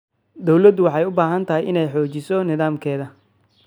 Dawladdu waxay u baahan tahay inay xoojiso nidaamkeeda.